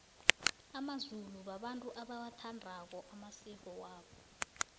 amazulu babantu abawathandako amasiko wabo